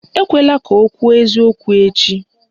Ekwela ka o kwuo eziokwu echi!